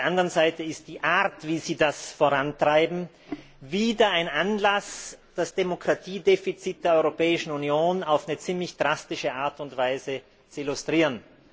auf der anderen Seite ist die Art, wie Sie das vorantreiben, wieder ein Anlass, das Demokratiedefizit der Europäischen Union auf eine ziemlich drastische Art und Weise zu illustrieren.